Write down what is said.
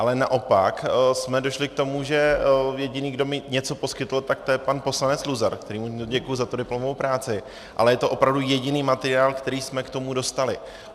Ale naopak jsme došli k tomu, že jediný, kdo mi něco poskytl, tak to je pan poslanec Luzar, kterému děkuji za tu diplomovou práci, ale je to opravdu jediný materiál, který jsme k tomu dostali.